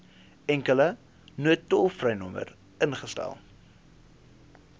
enkele noodtolvrynommer ingestel